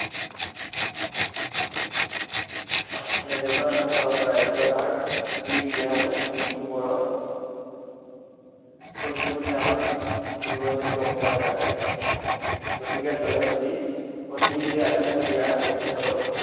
হাতত ৰাজ্য়ভাৰ দি তেওঁ মৃত্য়ুবৰণ কৰিছিল বুলি আমাৰ, বুৰঞ্জীত গম পোৱা যায়। গতিকে জয়মতীক, সতী বুলি আখ্য়া দিয়া তেখেতৰ